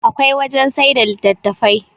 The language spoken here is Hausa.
akwai wajen sai da litattafai